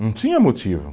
Não tinha motivo.